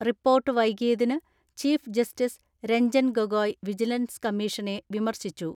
Report വൈകിയതിന് chief justice Ranjan Gogoi vigilance കമ്മീഷനെ വിമർശി ച്ചു.